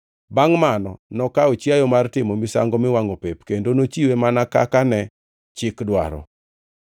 Bangʼ mano nokawo chiayo mar timo misango miwangʼo pep kendo nochiwe mana kaka ne chik dwaro.